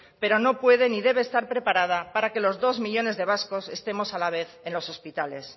pero no puede ni debe estar preparada para que los dos millónes de vascos estemos a la vez en los hospitales